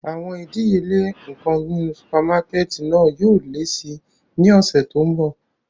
Awọn idiyele awọn nkan ninu supamakẹti náa yóò le si ni ọsẹ to nbọ.